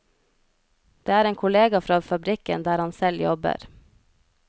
Det er en kollega fra fabrikken der han selv jobber.